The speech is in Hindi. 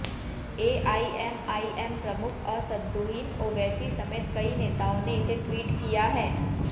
एआईएमआईएम प्रमुख असद्दुदीन ओवैसी समेत कई नेताओं ने इसे ट्वीट किया है